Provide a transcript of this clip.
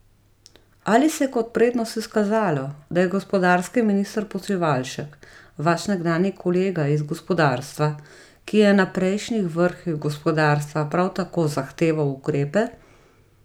Ali se je kot prednost izkazalo, da je gospodarski minister Počivalšek vaš nekdanji kolega iz gospodarstva, ki je na prejšnjih vrhih gospodarstva prav tako zahteval ukrepe?